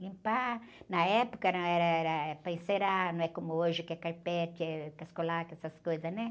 Limpar, na época, não, era, era para encerar, não é como hoje que é carpete, é Cascolac, essas coisas, né?